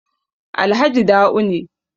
Alhaji Da'u ne